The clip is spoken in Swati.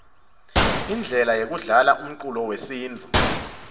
indlela yekudlala umcuco wesintfu